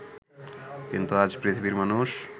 কিন্তু আজ পৃথিবীর মানুষ